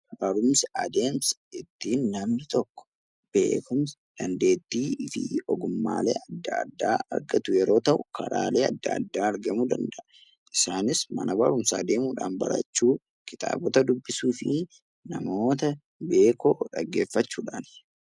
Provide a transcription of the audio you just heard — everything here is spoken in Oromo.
Barumsi adeemsa ittiin namni tokko beekumsa, dandeettii fi ogummaalee addaa addaa argatu yeroo ta'u, karaalee adda addaa argamuu danda'a. Isaanis Mana barumsaa deemuu dhaan barachuu, Kitaabota dubbisuu fi namoota beekoo dhaggeeffachuu dhaani.